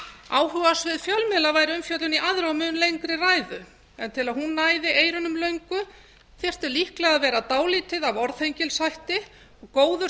áhugasvið fjölmiðla væri umfjöllun í aðra og mun lengri ræðu en til að hún næði eyrunum löngu þyrfti líklega að vera dálítið af orðhengilshætti góður